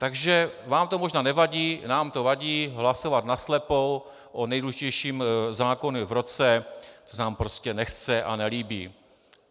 Takže vám to možná nevadí, nám to vadí hlasovat naslepo o nejdůležitějším zákoně v roce, to se nám prostě nechce a nelíbí.